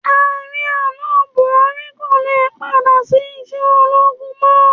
Ààrẹ àná, Bùhárí kò le padà sí iṣẹ́ ológun mọ́.